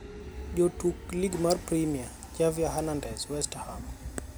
Jotuk Lig mar Premia: Javier Hernandez (West Ham).